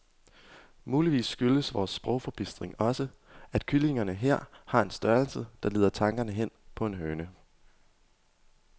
Muligvis skyldes vor sprogforbistring også, at kyllingerne her har en størrelse, der leder tanken hen på en høne.